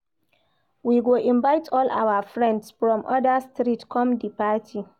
We go invite all our friends from oda street come di party.